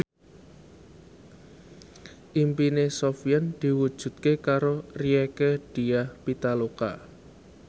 impine Sofyan diwujudke karo Rieke Diah Pitaloka